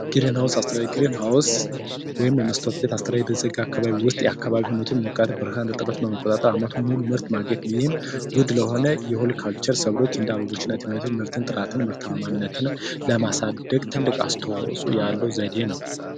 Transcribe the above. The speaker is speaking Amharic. ግሪንሃውስ አስተያየት ግሪንሃውስ ወይም የመስታውት ቤት የተዘጋ መስታውት ውስጥ የአካባቢውን ሙቀት ብርሃን እርትበት በመቆጣጠር አመቱን ሙሉ ምርት ማግኘት፤ ይህም ውድ ለሆነ ለሆልቲካልቸር ሰብሎች እንደ አበቦች እና ትምህርት ጥራትና ምርታማነትን ለማሳደግ ትልቅ አስተዋጽዖ ያለው ዘዴ ነው።